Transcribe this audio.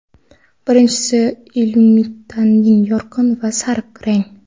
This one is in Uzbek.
Birinchisi Illuminating - yorqin va sariq rang.